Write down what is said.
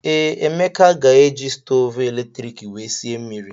Ee, Emeka ga-eji stovu eletrik wee sie mmiri.